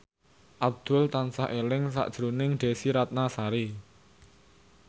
Abdul tansah eling sakjroning Desy Ratnasari